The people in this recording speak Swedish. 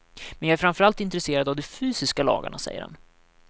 Men jag är framför allt intresserad av de fysiska lagarna, säger han.